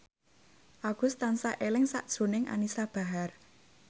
Agus tansah eling sakjroning Anisa Bahar